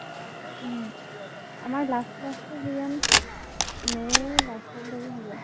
উম । আমাৰ last class টো কিজান may ৰ last লৈ হব।